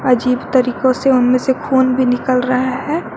अजीब तरीकों से उनमें से खून भी निकल रहा है।